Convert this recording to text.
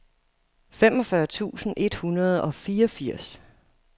femogfyrre tusind et hundrede og fireogfirs